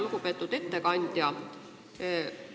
Lugupeetud ettekandja!